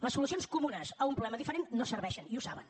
les solucions comunes a un problema diferent no serveixen i ho saben